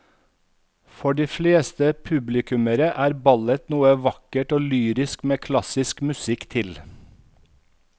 For de fleste publikummere er ballett noe vakkert og lyrisk med klassisk musikk til.